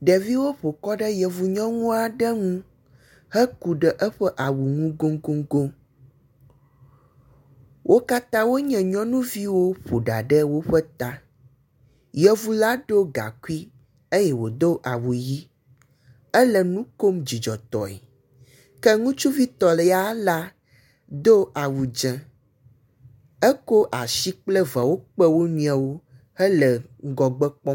Ɖeviwo ƒo kɔ ɖe yevu nyɔŋua ɖe ŋu heku ɖe eƒe awu ŋu goŋgoŋgoŋ, wo katã wonye nyɔnuviwo ƒo ɖa ɖe woƒe ta. Yevu la do gakui eye wòdo awu ʋi, ele nu kom dzidzɔtɔe, ke ŋutsuvitɔ ya la do awu dz0, ekɔ asi kple veawo kpe wo nɔewo hele ŋgɔgbe kpɔm.